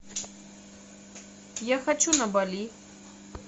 я хочу на бали